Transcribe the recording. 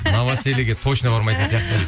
новосельеге точно бармайтын сияқтымын дейді